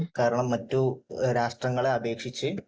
കാരണം മറ്റ് രാഷ്ട്രങ്ങളെ അപേക്ഷിച്ച്